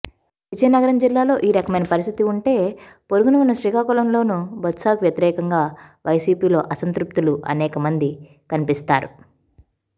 విజయనగరం జిల్లాలో ఈ రకమైన పరిస్థితి ఉంటే పొరుగున ఉన్న శ్రీకాకుళంలోనూ బొత్సకు వ్యతిరేకంగా వైసీపీలో అసంతృప్తులు అనేకమంది కనిపిస్తారు